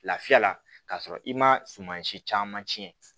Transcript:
Lafiya la ka sɔrɔ i ma suma si caman tiɲɛ